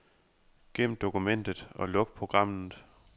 Gem dokumentet og luk programmet.